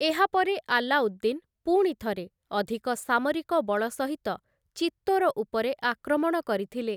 ଏହାପରେ ଆଲ୍ଲାଉଦ୍ଦିନ୍ ପୁଣିଥରେ ଅଧିକ ସାମରିକ ବଳ ସହିତ ଚିତ୍ତୋର ଉପରେ ଆକ୍ରମଣ କରିଥିଲେ ।